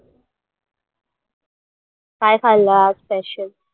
काय खाल्ल आज special